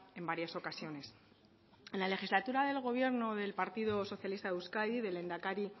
en varias ocasiones en la legislatura del gobierno del partido socialista de euskadi del lehendakari